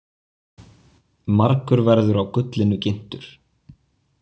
Margur verður á gullinu ginntur.